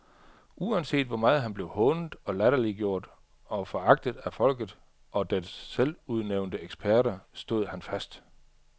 Uanset hvor meget han blev hånet, latterliggjort og foragtet af folket og dets selvudnævnte eksperter, stod han fast.